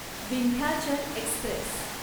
Vindhyachal Express